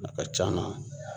A ka c'a la